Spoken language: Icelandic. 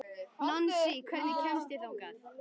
Nansý, hvernig kemst ég þangað?